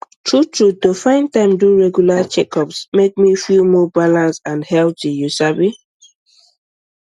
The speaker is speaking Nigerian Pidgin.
true true to find time do regular checkups make me feel more balanced and healthy you sabi